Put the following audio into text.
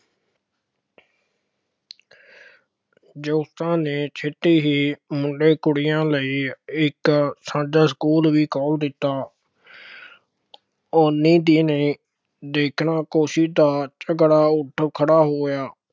ਜੋਤੀਬਾ ਨੇ ਛੇਤੀ ਹੀ ਮੁੰਡੇ ਕੁੜੀਆਂ ਲਈ ਇੱਕ ਸਕੂਲ ਵੀ ਖੋਲ੍ਹ ਦਿੱਤਾ। ਉੱਨੀ ਦਿਨੇ ਦੇਖਣਾ ਦਾ ਝਗੜਾ ਉੱਠ ਖੜ੍ਹਾ ਹੋਇਆ।